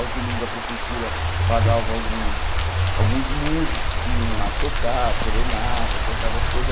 Aos domingos a prefeitura pagava alguns alguns músicos que iam lá tocar, serenata, tocava as coisas.